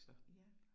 Ja